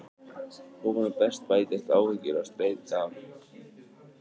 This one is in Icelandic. Ofan á bætast áhyggjur og streita við að reyna að láta enda ná saman.